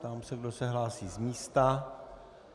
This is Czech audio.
Ptám se, kdo se hlásí z místa.